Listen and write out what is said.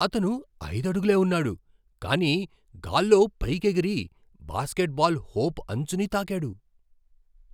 అతను ఐదు అడుగులే ఉన్నాడు, కానీ గాల్లో పైకి ఎగిరి బాస్కెట్బాల్ హోప్ అంచుని తాకాడు.